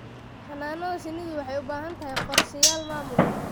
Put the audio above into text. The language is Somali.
Xannaanada shinnidu waxay u baahan tahay qorshayaal maamul.